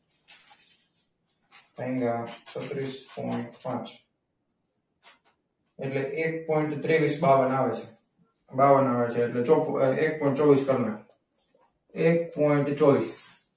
અહીંયા છત્રીસ પોઇન્ટ પાંચ. એટલે એક પોઇન્ટ ત્રેવીસ બાવન આવે. બાવન આવે એટ્લે એક પોઈન્ટ ચોવીસ કરનાખું. એક પોઈન્ટ ચોવીસ.